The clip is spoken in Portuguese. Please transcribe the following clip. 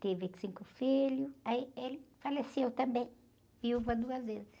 teve cinco filhos, aí ele faleceu também, viúva duas vezes.